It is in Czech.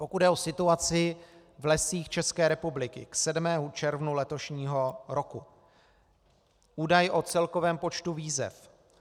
Pokud jde o situaci v Lesích České republiky k 7. červnu letošního roku - údaj o celkovém počtu výzev.